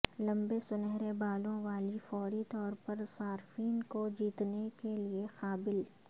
لمبے سنہرے بالوں والی فوری طور پر صارفین کو جیتنے کے لئے قابل